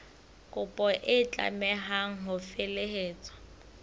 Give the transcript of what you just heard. kopo e tlameha ho felehetswa